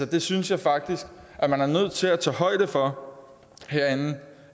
det synes jeg faktisk man er nødt til at tage højde for herinde